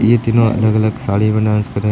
ये तीनों अलग अलग साड़ी में डांस कर रहे।